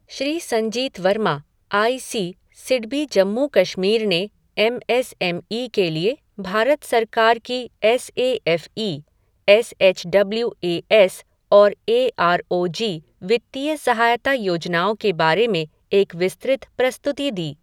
Shri Sanjeet Varma, I C, SIDBI Jammu Kashmir ने M S M E के लिए भारत सरकार की S A F E, S H W A S और ए आर ओ जी वित्तीय सहायता योजनाओं के बारे में एक विस्तृत प्रस्तुति दी।